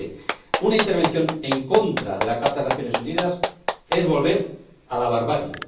Mire usted, una intervención en contra de la Carta de las Naciones Unidas es volver a la barbarie.